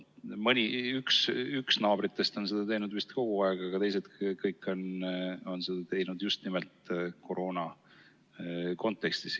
Üks naabritest on seda teinud vist kogu aeg, aga kõik teised on seda teinud just nimelt koroona kontekstis.